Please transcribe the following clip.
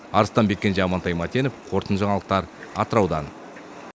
арыстанбек кенже амантай мәтенов қорытынды жаңалықтар атыраудан